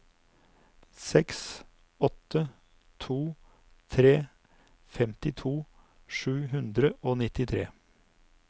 seks åtte to tre femtito sju hundre og nittitre